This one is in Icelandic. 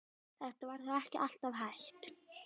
Þetta var þó ekki alltaf hægt.